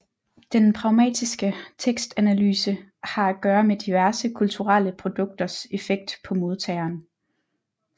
Den pragmatiske tekstanalyse har at gøre med diverse kulturelle produkters effekt på modtageren